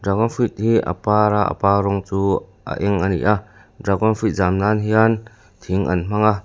dragon fruit hi a par a a par rawng chu a eng a ni a dragon fruit zam nan hian thing an hmang a.